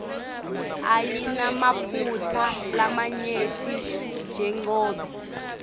ayinamaphutsa lamanyenti jengobe